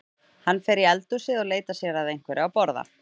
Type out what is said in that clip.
Hann fer í eldhúsið og leitar sér að einhverju að borða.